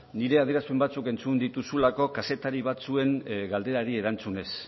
nire adierazpen batzuk entzun dituzulako kazetari batzuen galderari erantzunez